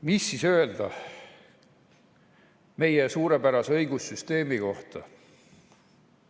Mis siis öelda meie suurepärase õigussüsteemi kohta?